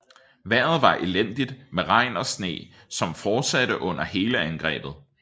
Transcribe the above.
Vejret var elendigt med regn og sne som fortsatte under hele angrebet